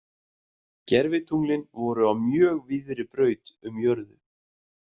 Gervitunglin voru á mjög víðri braut um jörðu.